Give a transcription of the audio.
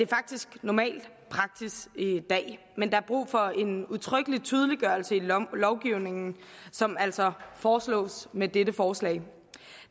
faktisk normal praksis i dag men der er brug for en udtrykkelig tydeliggørelse i lovgivningen som altså foreslås med dette forslag